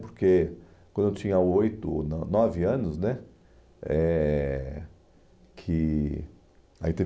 Porque quando eu tinha oito ou no nove anos, eh que aí teve